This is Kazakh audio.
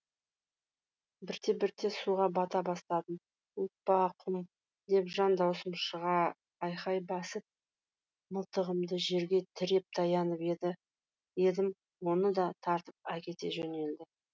бірте бірте суға бата бастадым оппа құм деп жан даусым шыға айқай басып мылтығымды жерге тіреп таянып едім оны да тартып әкете жөнелді